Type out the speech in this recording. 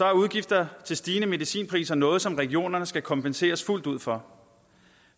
er udgifter til stigende medicinpriser noget som regionerne skal kompenseres fuldt ud for